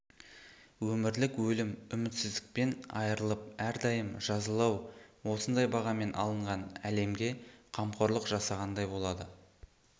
өмірлік өлім үмітсіздіктен айырылып әрдайым жазалау осындай бағамен алынған әлемге қамқорлық жасағандай болады